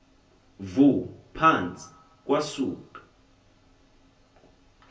vu phantsi kwasuka